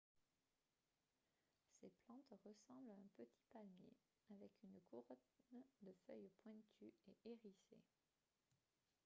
ces plantes ressemblent à un petit palmier avec une couronne de feuilles pointues et hérissées